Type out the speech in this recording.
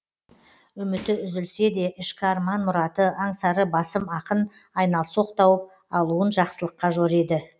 үміті үзілсе де ішкі арман мұраты аңсары басым ақын айналсоқ тауып алуын жақсылыққа жориды